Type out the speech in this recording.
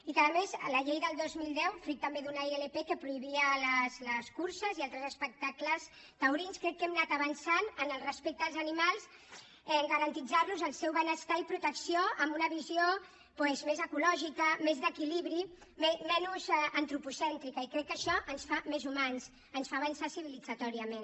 i a més amb la llei del dos mil deu fruit també d’una ilp que prohibia les curses i altres espectacles taurins crec que hem anat avançant en el respecte als animals al garantir los el seu benestar i protecció amb una visió doncs més ecològica més d’equilibri menys antropocèntrica i crec que això ens fa més humans ens fa avançar civilitzatòriament